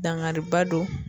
Dangariba don